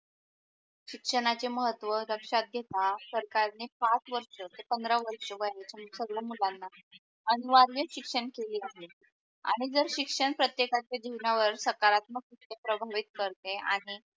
शिक्षणाचे महत्व लक्षात घेता सरकारने पाच वर्ष ते पंधरा वर्षाच वयाचे संगड्या मुलाणा अनुवाऱ्य शिक्षण केले आहे आणि जर शिक्षण प्रतेकच्या जिवणा वर सकारात्मक प्रभालीत कारते आणि